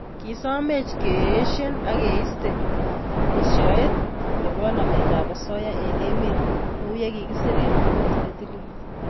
Kisomech keeisie ak keiste esioet nebo nametab osoya eng emet kouye kikisir eng bukuit netilil